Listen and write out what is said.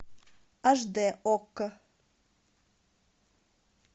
аш д окко